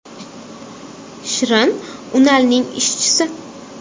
Shirin Unalning ishchisi.